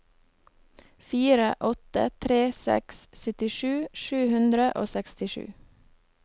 fire åtte tre seks syttisju sju hundre og sekstisju